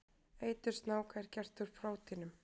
Eitur snáka er gert úr prótínum.